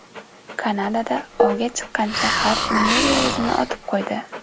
Kanadada ovgan chiqqan shahar meri o‘zini otib qo‘ydi.